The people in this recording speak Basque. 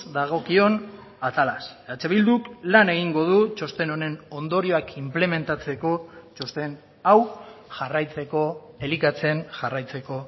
dagokion atalaz eh bilduk lan egingo du txosten honen ondorioak inplementatzeko txosten hau jarraitzeko elikatzen jarraitzeko